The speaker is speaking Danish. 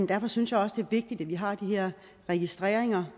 derfor synes jeg også det er vigtigt at vi har de her registreringer